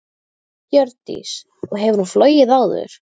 Hjördís: Og hefur hún flogið áður?